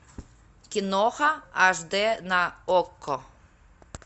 киноха аш дэ на окко